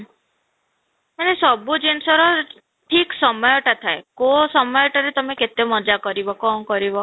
ମାନେ ସବୁ ଜିନିଷର ଠିକ ସମୟ ଟା ଥାଏ, କୋଉ ସମୟଟା ରେ ତୁମେ କେତେ ମଜା କରିବ କ'ଣ କରିବ